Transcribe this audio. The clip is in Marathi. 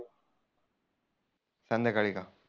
संध्याकाळी का?